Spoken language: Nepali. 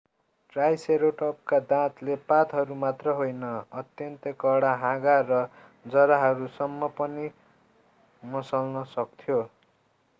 ट्राइसेरोटपका दाँतले पातहरू मात्र होइन अत्यन्तै कडा हाँगा र जराहरूसम्म पनि मसल्न सक्थ्यो